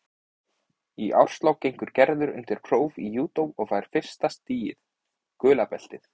Í árslok gengur Gerður undir próf í júdó og fær fyrsta stigið, gula beltið.